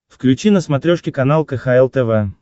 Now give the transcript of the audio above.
включи на смотрешке канал кхл тв